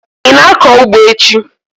Ị na-akọ ugbo echi?